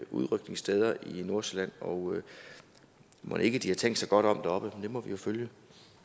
udrykningssteder i nordsjælland og mon ikke de har tænkt sig godt om deroppe det må vi jo følge